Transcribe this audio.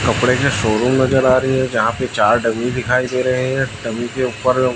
कपड़े के शोरूम नजर आ रही है जहां पे चार डमी दिखाई दे रहे है डमी के उपर--